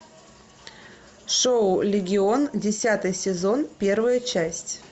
шоу легион десятый сезон первая часть